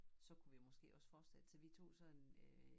Så kunne vi jo også fortsætte så vi tog sådan øh